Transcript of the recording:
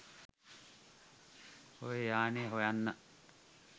ඔය යානෙ හොයන්න.